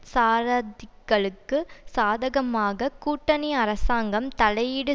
சாரதிகளுக்கு சாதகமாக கூட்டணி அரசாங்கம் தலையீடு